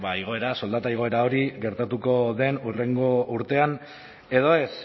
igoera soldata igoera hori gertatuko den hurrengo urtean edo ez